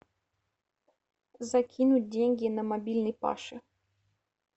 закинуть деньги на мобильный паше